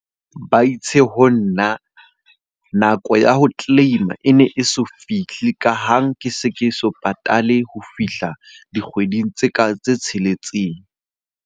Ba itse ho nna nako ya ho claim-a e ne e so fihle ka ha ke se ke so patale ha fihla dikgweding tse ka, tse tsheletseng.